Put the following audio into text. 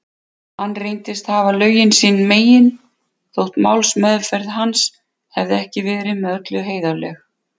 Hann reyndist hafa lögin sín megin, þótt málsmeðferð hans hefði ekki verið með öllu heiðarleg.